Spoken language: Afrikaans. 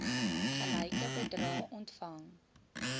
gelyke bedrae ontvang